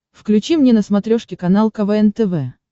включи мне на смотрешке канал квн тв